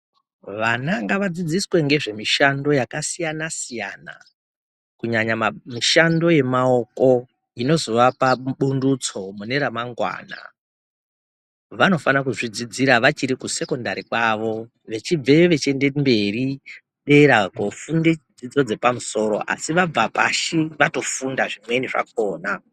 Vana ngavadzidziswe ngezvemishando yakasiyana -siyana. Kunyanya ,mishando yemaoko inozovapa pundutso mune ramangwana. Vanofana kuzvidzidzira vachiri kusekondari kwavo vechibveo vechiende kumberi ,dera koofunde dzidzo dzepamusoro asi vabva pashi vatofunda zvimweni zvakhona.